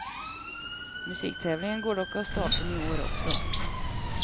Musiktävlingen går dock av stapeln i år också.